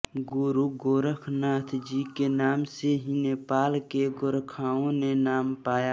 गुरु गोरखनाथ जी के नाम से ही नेपाल के गोरखाओं ने नाम पाया